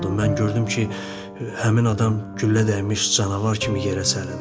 Mən gördüm ki, həmin adam güllə dəymiş canavar kimi yerə sərildi.